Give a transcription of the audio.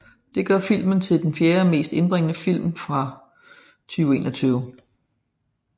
Det gør filmen til den fjerde mest indbringende film fra 2021